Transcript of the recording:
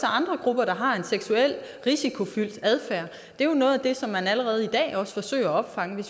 andre grupper der har en seksuelt risikofyldt adfærd det er jo noget af det som man allerede i dag også forsøger at opfange